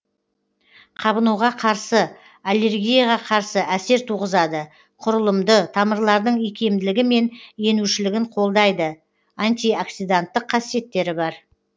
қабынуға қарсы аллергияға қарсы әсер туғызады құрылымды тамырлардың икемділігі мен енушілігін қолдайды антиоксиданттық қасиеттері бар